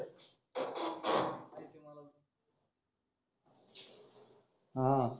हा